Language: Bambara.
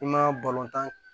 I ma tan